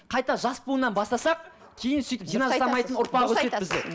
қайта жас буыннан бастасақ кейін сөйтіп